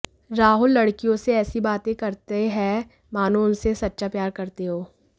राहुल लड़कियों से ऐसी बातें करतें हैं मानो उनसे सच्चा प्यार करते हों